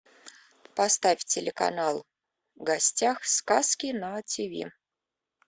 поставь телеканал в гостях сказки на тиви